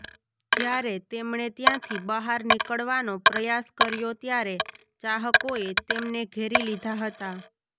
જ્યારે તેમણે ત્યાંથી બહાર નીકળવાનો પ્રયાસ કર્યો ત્યારે ચાહકોએ તેમને ઘેરી લીધા હતા